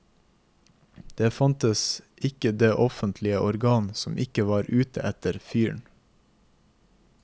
Det fantes ikke det offentlige organ som ikke var ute etter fyren.